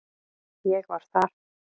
Ég var þar